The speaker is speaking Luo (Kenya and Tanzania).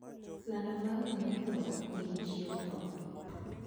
lando mar ngama otho nigi chieng tho